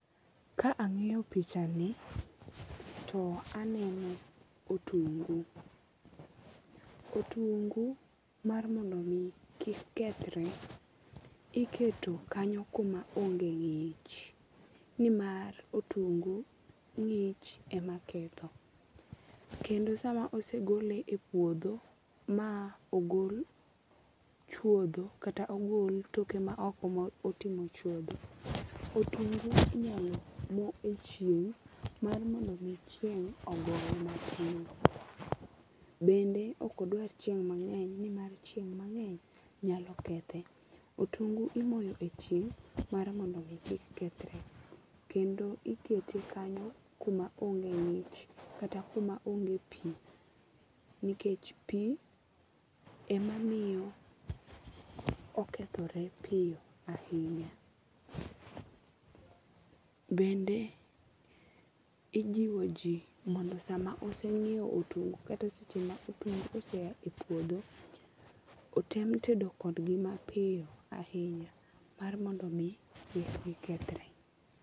Ka ang'iyo pichani to aneno otungu. Otungu mar mondo mi kik kethre iketo kanyo kuma onge ng'ich. Nimar otungu ng'ich ema ketho. Kendo sama osegole e puodho ma ogol chuodho kata ogol toke ma oko ma oting'o chuodho, otungu inyalo mo e chieng' mar mond mi chieng' ogoye matin. Bende ok odwar chieng' mang'eny nimar chieng' mang'eny nyalo kethe. Otungu imoyo e chieng' mar mondo mi ki kethre. Kendo ikete kanyo kuma onge ng'ich kata kuma onge pi. Nikech pi ema miyo okethore piyo ahinya. Bende, ijiwo ji mondo sama oseng'iew otungu kata seche ma otungu ose a e puodhio otem tedo kod gi mapiyo ahinya mar mondo mi kik gikethre.